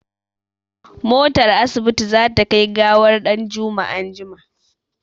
Motar asibiti za ta kai gawar ɗanjuma anjima.